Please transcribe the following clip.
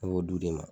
Ne b'o di ne ma